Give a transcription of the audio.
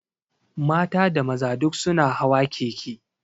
Mata da maza duk su na hawa keke